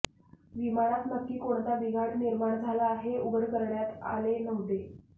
विमानात नक्की कोणता बिघाड निर्माण झाला हे उघड करण्यात आले नव्हते